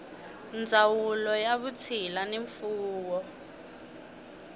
ndzawulo ya vutshila ni mfuwo